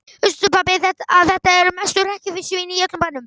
Veistu pabbi að þetta eru mestu hrekkjusvínin í öllum bænum.